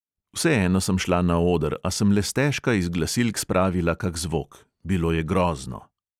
Vseeno sem šla na oder, a sem le stežka iz glasilk spravila kak zvok ... bilo je grozno.